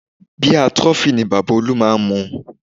Bíà Trophy ni Bàbá olú máa ń mu